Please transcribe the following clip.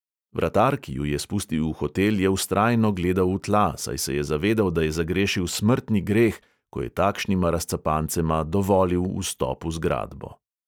Vratar, ki ju je spustil v hotel, je vztrajno gledal v tla, saj se je zavedal, da je zagrešil smrtni greh, ko je takšnima razcapancema dovolil vstop v zgradbo.